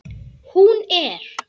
Hún er.